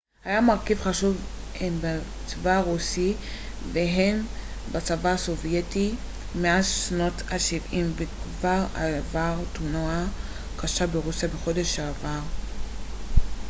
מטוס ה-il-76 היה מרכיב חשוב הן בצבא הרוסי וההן בצבא הסובייטי מאז שנות השבעים וכבר עבר תאונה קשה ברוסיה בחודש שעבר